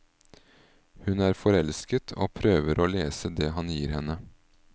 Hun er forelsket, og prøver å lese det han gir henne.